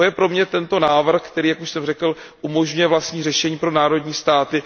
To je pro mě tento návrh, který, jak už jsem řekl, umožňuje vlastní řešení pro národní státy.